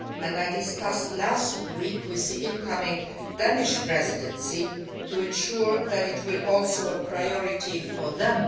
I discussed it last week with the incoming Danish Presidency to ensure that it will also be a priority for them.